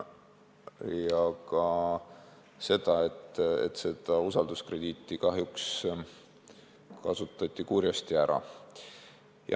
Aga usalduskrediiti kasutati kahjuks kurjasti ära.